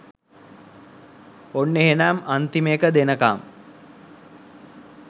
ඔන්න එහෙනම් අන්තිම එක දෙනකම්